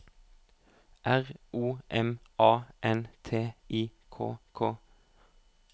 R O M A N T I K K